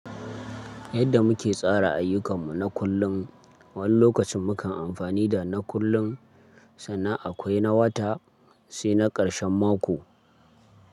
Yadda muke tsara ayyukanmu na kullum, wani lokacin mukan amfani da na kullun, sannan akwai na wata sai na karshen mako.